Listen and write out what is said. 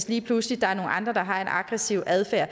lige pludselig har en aggressiv adfærd